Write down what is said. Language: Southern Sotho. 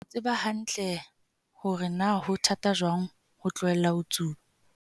o tseba hantle hore na ho thata jwang ho tlohela ho tsuba.